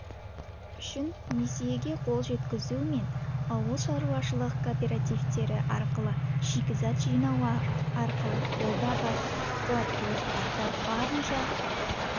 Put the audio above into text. үшін несиеге қол жеткізу мен ауылшаруашылық кооперативтері арқылы шикізат жинау арқылы қолда бар қуаттылықтарды барынша